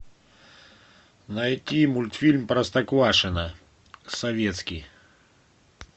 найти мультфильм простоквашино советский